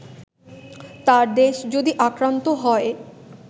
তার দেশ যদি আক্রান্ত হয়